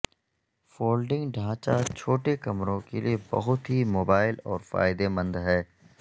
folding ڈھانچہ چھوٹے کمروں کے لئے بہت ہی موبائل اور فائدہ مند ہے